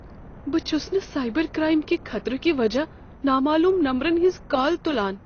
بہٕ چھس نہٕ سائبر کرائم کہ خطرٕ کِہ وجہہ نامعلوم نمبرن ہنز کال تلان۔